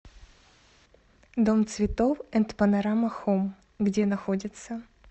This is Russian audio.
дом цветов энд панорама хоум где находится